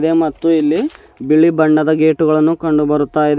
ದೆ ಮತ್ತು ಇಲ್ಲಿ ಬಿಳಿ ಬಣ್ಣದ ಗೇಟುಗಳನ್ನು ಕಂಡುಬರುತ್ತಾ ಇದೆ.